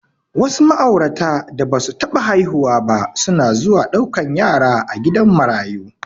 Wasu ma'aurata da basu taɓa haihuwa ba suna zuwa ɗaukan yara a gidan marayu.